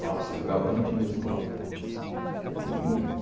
Nossa, eu jogava até no time da escola.